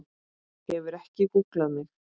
Hefurðu ekki gúgglað mig?!